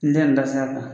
N tɛ nin ta sira kan